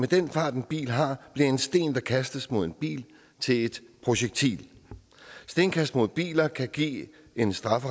den fart en bil har bliver en sten der kastes mod en bil til et projektil stenkast mod biler kan give en straf